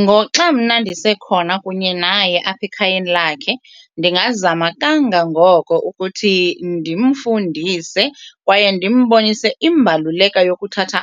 Ngoxa mna ndisekhona kunye naye apha ekhayeni lakhe ndingazama kangangoko ukuthi ndimfundise kwaye ndimbonise imbaluleka yokuthatha